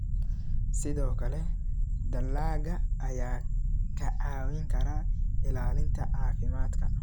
Sidoo kale, dalagga ayaa kaa caawin kara ilaalinta caafimaadka.